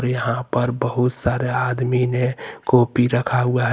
यहां पर बहुत सारे आदमी ने कॉपी रखा हुआ--